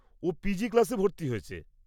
ও PG ক্লাসে ভর্তি হয়েছে।